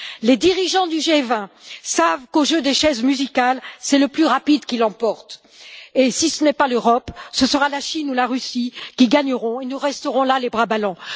Les dirigeants du G20 savent qu'au jeu des chaises musicales, c'est le plus rapide qui l'emporte. Si ce n'est pas l'Europe, ce sera la Chine ou la Russie qui gagneront, et nous resterons là les bras ballants.